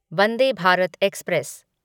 Vande Bharat express